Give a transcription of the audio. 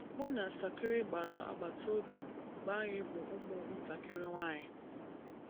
Mụ na Sakina gbara agbata obi mgbe anyị bụ ụmụntakịrị nwanyị.